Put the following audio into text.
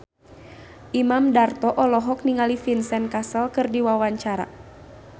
Imam Darto olohok ningali Vincent Cassel keur diwawancara